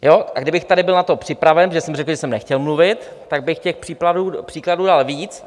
A kdybych tady byl na to připraven, protože jsem řekl, že jsem nechtěl mluvit, tak bych těch příkladů dal víc.